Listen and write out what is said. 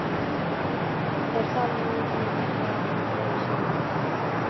Er það minn eða þinn sjóhattur